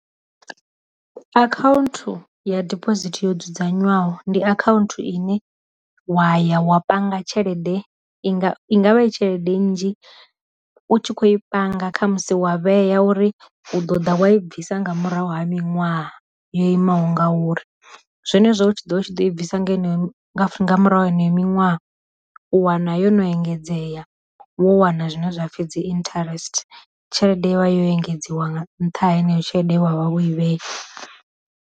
Akhaunthu ya diphosithi yo dzudzanywaho ndi akhaunthu ine wa ya wa panga tshelede i nga ingavha i tshelede nnzhi u tshi kho i panga kha musi wa vhea uri u ḓo ḓa wa i bvisa nga murahu ha miṅwaha yo imaho ngauri, zwenezwo hu tshi ḓo vha u tshi ḓo i bvisa ngeno nga murahu heneyo miṅwaha u wana yo no engedzea vho wana zwine zwapfhi dzi interest, tshelede ya vha yo engedziwa nga ntha heneyo tshelede wavha wo i vhea.